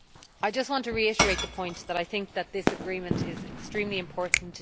I just want to reiterate the point that I think this agreement is extremely important.